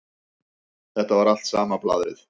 Þetta var alltaf sama blaðrið.